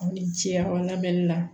Aw ni ce a la bɛnni la